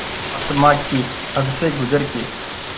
आसमां की हद से गुज़र के